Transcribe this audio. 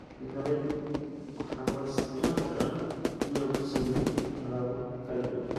Galaydu waxaa loo isticmaali karaa in lagu sameeyo alaabo kala duwan.